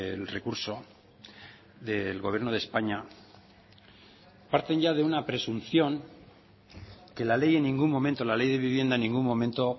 el recurso del gobierno de españa parten ya de una presunción que la ley en ningún momento la ley de vivienda en ningún momento